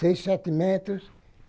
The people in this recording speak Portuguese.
Seis, sete metros.